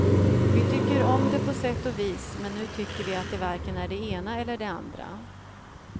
Vi tycker om det på sätt och vis, men nu tycker vi att det varken är det ena eller det andra.